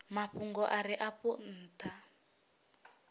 mafhungo a re afho ntha